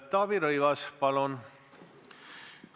Taavi Rõivas, palun!